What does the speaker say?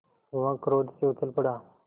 वह क्रोध से उछल पड़ा